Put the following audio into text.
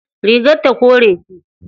Rigar ta kore ce.